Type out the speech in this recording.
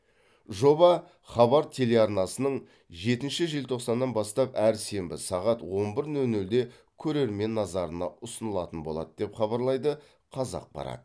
жоба хабар телеарнасынан жетінші желтоқсаннан бастап әр сенбі сағат он бір нөл нөлде көрермен назарына ұсынылатын болады деп хабарлайды қазақпарат